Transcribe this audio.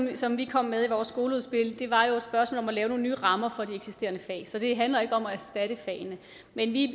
det som vi kom med i vores skoleudspil var jo et spørgsmål om at lave nogle nye rammer for de eksisterende fag så det handler ikke om at erstatte fagene men vi